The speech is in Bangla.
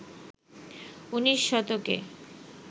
উনিশ শতকে